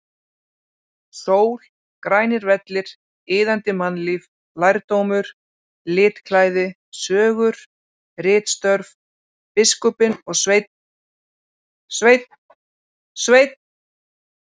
Sól, grænir vellir, iðandi mannlíf, lærdómur, litklæði, sögur, ritstörf, biskupinn og Sveinn, Sveinn, Sveinn!!!